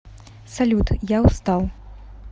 салют я устал